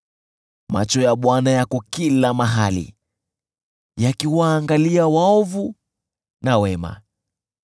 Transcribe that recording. Macho ya Bwana yako kila mahali, yakiwaangalia waovu na wema.